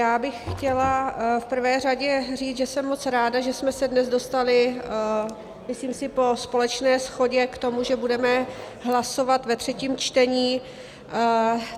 Já bych chtěla v prvé řadě říct, že jsem moc ráda, že jsme se dnes dostali, myslím si po společné shodě, k tomu, že budeme hlasovat ve třetím čtení.